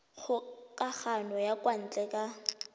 kgokagano ya kwa ntle ka